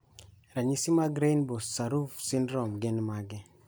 Ranyisi mag Robinow Sorauf syndrome gin mage?